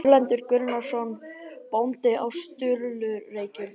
Erlendur Gunnarsson bóndi á Sturlureykjum í